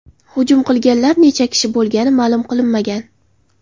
Hujum qilganlar necha kishi bo‘lgani ma’lum qilinmagan.